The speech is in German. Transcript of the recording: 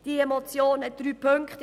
Die Motion hat drei Ziffern.